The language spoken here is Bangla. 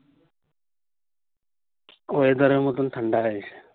weather এর মতোন ঠান্ডা হয়ে